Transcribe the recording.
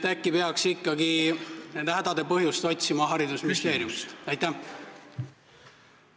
Äkki peaks ikkagi nende hädade põhjust otsima haridusministeeriumist?